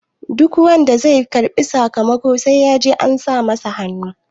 duk wanda zai karbi sakamako sai ya je an sa masa hannu